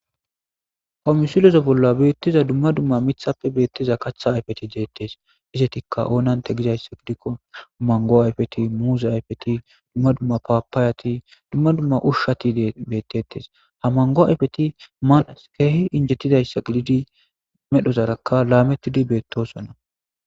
komisilozo bolla beettiza dumma dumma mithappe beettiza katha ayfeti deettees izetikka oonante gizayssa gidikko mango ayfeti muuze ayfeti dumma dumma paapaayati dumma dumma ushshati beettettes ha mango ayfeti maanas keehi injettidayssa gididi medhozarakka laamettidi beettosonna